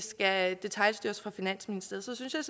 skal detailstyres af finansministeriet synes jeg